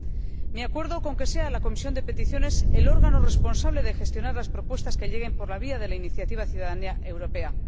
Deseo expresar mi acuerdo con que sea la Comisión de Peticiones el órgano responsable de gestionar las propuestas que lleguen por la vía de la iniciativa Ciudadanía europea.